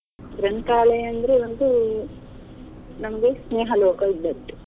ಗ್ರಂಥಾಲಯ ಅಂದ್ರೆ ಒಂದು ನಮ್ಗೆ ಸ್ನೇಹಲೋಕ ಇದ್ದಂತೆ.